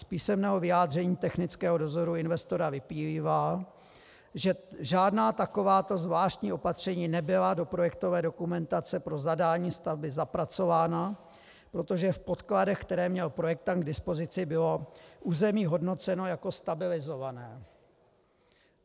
Z písemného vyjádření technického dozoru investora vyplývá, že žádná takováto zvláštní opatření nebyla do projektové dokumentace pro zadání stavby zapracována, protože v podkladech, které měl projektant k dispozici, bylo území hodnoceno jako stabilizované.